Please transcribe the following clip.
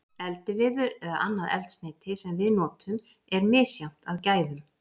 Eldiviður eða annað eldsneyti sem við notum er misjafnt að gæðum.